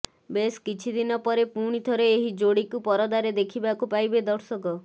ବେଶ କିଛି ଦିନପରେ ପୁଣିଥରେ ଏହି ଯୋଡ଼ିକୁ ପରଦାରେ ଦେଖିବାକୁ ପାଇବେ ଦର୍ଶକ